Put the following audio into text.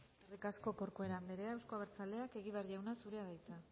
eskerrik asko corcuera anderea euzko abertzaleak egibar jauna zurea da hitza